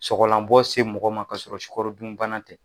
Sɔgɔlanbɔ se mɔgɔ ma ka sɔrɔ sukarodunbana tɛ.